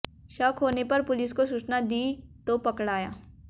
शक होने पर पुलिस को सूचना दी तो पकड़ाया